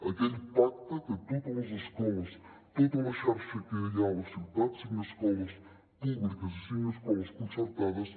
aquell pacte que totes les escoles tota la xarxa que hi ha a la ciutat cinc escoles públiques i cinc escoles concertades